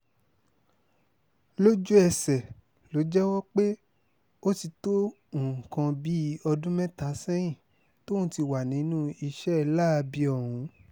lójú-ẹsẹ̀ ló jẹ́wọ́ pé ó ti tó nǹkan bíi ọdún mẹ́ta sẹ́yìn tóun ti wà nínú iṣẹ́ láabi ọ̀hún